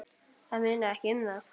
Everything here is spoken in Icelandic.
Það munar ekki um það!